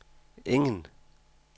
ingen